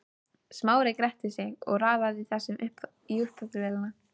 Smári gretti sig og raðaði þessu í uppþvottavélina.